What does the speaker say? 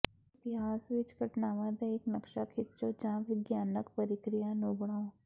ਇਤਿਹਾਸ ਵਿੱਚ ਘਟਨਾਵਾਂ ਦਾ ਇੱਕ ਨਕਸ਼ਾ ਖਿੱਚੋ ਜਾਂ ਵਿਗਿਆਨਕ ਪ੍ਰਕਿਰਿਆ ਨੂੰ ਬਣਾਉ